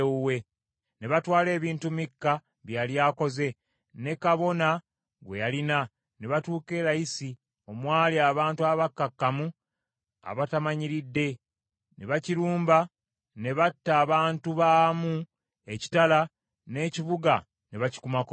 Ne batwala ebintu Mikka bye yali akoze, ne kabona gwe yalina, ne batuuka e Layisi omwali abantu abakkakkamu abatamanyiridde, ne bakilumba ne batta abantu baamu n’ekitala, n’ekibuga ne bakikumako omuliro.